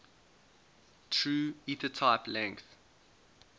true ethertype length